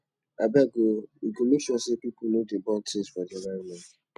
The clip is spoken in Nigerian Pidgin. abeg o we go make sure sey pipo no dey burn tins for dis environment